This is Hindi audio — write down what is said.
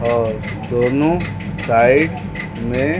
और दोनों साइड में--